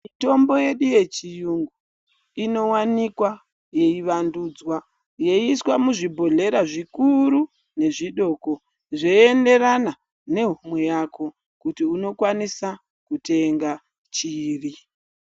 Mitombo yedu yechiyungu inovanikwa yeivandudzwa yeiiswa muzvibhoryera zvikuru nezvidoko. Zveienderana nehomwe yako kuti unokwanisa kutenga chiri.